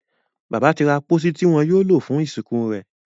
Bàbá tí ra pósí Ti iwọ yóò lo fún ìsìnkú rẹ.